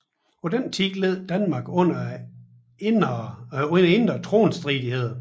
På den tid led Danmark under indre tronstridigheder